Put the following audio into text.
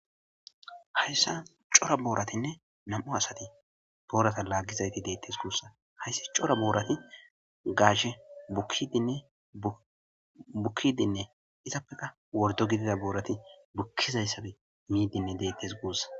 hayssa cora booratinne nam'u asati boorata laaggizayti deettes guussa hayssi cora boorati gaashe bukidinne bukkidinne izappeka wordo gidida boorati bukkizayssabe miidinne deettes guussa